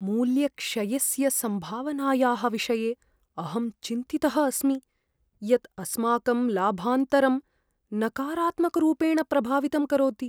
मूल्यक्षयस्य सम्भावनायाः विषये अहं चिन्तितः अस्मि यत् अस्माकं लाभान्तरं नकारात्मकरूपेण प्रभावितं करोति।